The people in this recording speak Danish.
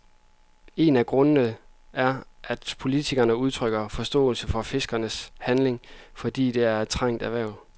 En af grundene er, at flere politikere udtrykker forståelse for fiskernes handlinger, fordi det er et trængt erhverv.